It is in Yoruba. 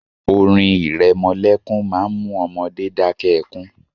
Orin ìrẹmọlẹ́kún má ń mú ọmọdé dakẹ́ ẹkún